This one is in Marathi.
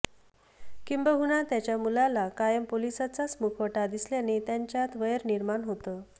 किंबहुना त्याच्या मुलाला कायम पोलिसाचाच मुखवटा दिसल्याने त्यांच्यात वैर निर्माण होतं